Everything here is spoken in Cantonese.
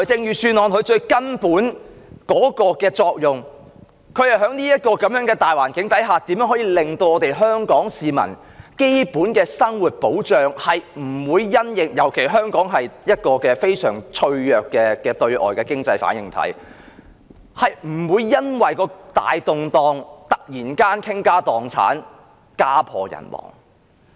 預算案最根本的作用，便是在這個大環境下，如何令香港市民的基本生活得到保障——尤其香港是一個非常脆弱的對外經濟反應體——不會因為大動盪而突然間傾家蕩產、家破人亡。